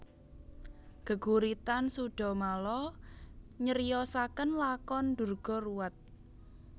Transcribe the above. Geguritan Sudhamala nyriosaken lakon Durga ruwat